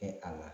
Kɛ a la